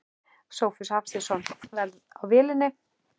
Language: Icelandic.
Sófus Hafsteinsson: Verð á vélinni?